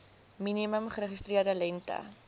minimum geregistreerde lengte